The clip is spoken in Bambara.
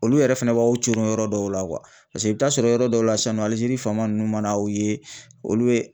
Olu yɛrɛ fɛnɛ b'aw coron yɔrɔ dɔw la paseke i bi taa sɔrɔ yɔrɔ dɔw la sisan nɔ Algérie fama nunnu man'aw ye olu ye